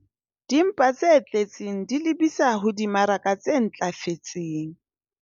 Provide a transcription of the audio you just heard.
Dimpa tse tletseng di lebisa ho dimaraka tse ntlafetseng